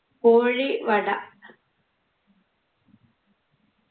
കോഴി വട